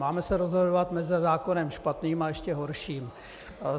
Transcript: Máme se rozhodovat mezi zákonem špatným a ještě horším.